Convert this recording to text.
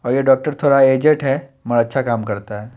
और ये डॉक्टर थोड़ा एजेड है म अच्छा काम करता है।